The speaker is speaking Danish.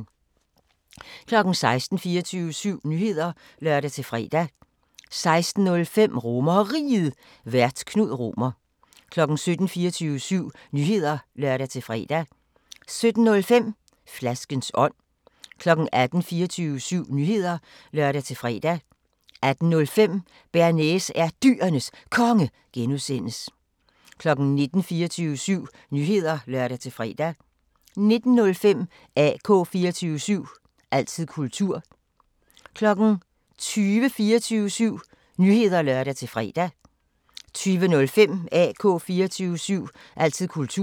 16:00: 24syv Nyheder (lør-fre) 16:05: RomerRiget, Vært: Knud Romer 17:00: 24syv Nyheder (lør-fre) 17:05: Flaskens ånd 18:00: 24syv Nyheder (lør-fre) 18:05: Bearnaise er Dyrenes Konge (G) 19:00: 24syv Nyheder (lør-fre) 19:05: AK 24syv – altid kultur 20:00: 24syv Nyheder (lør-fre) 20:05: AK 24syv – altid kultur